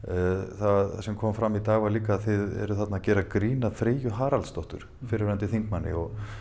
það sem kom fram í dag var líka að þið eruð þarna að gera grín að Freyju Haraldsdóttur fyrrverandi þingmanni